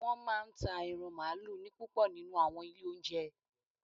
Wọ́n máa ń ta ẹran mààlúù ní púpọ̀ nínú u àwọn ilé óúnjẹ